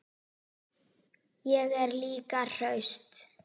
Ég er líka hraust.